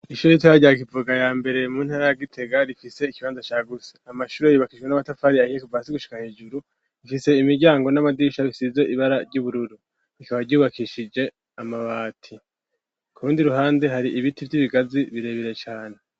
Ishuru itaryakivuga ya mbere mu ntara agitega rifise ikibanza ca guse amashuro yiubakishwe n'amatafari ahiye kuvasi gushika hejuru rifise imiryango n'amagisha bisize ibara ry'ubururu bikaba ryubakishije amabati kubundi ruhande hari ibiti vy'ibigazi birebire cane.